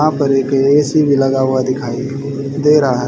यहां पर एक ए_सी भी लगा हुआ दिखाई दे रहा--